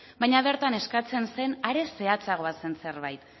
baina bertan eskatzen zen are zehatzagoa zen zerbait